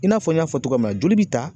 I n'a fɔ n y'a fɔ cogoya min na joli bi ta